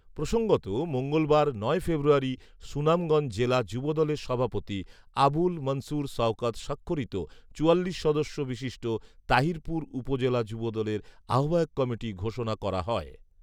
প্রসঙ্গত, মঙ্গলবার, নয় ফেব্রুয়ারি, সুনামগঞ্জ জেলা যুবদলের সভাপতি আবুল মনসুর শওকত স্বাক্ষরিত চুয়াল্লিশ সদস্য বিশিষ্ট তাহিরপুর উপজেলা যুবদলের আহবায়ক কমিটি ঘোষণা করা হয়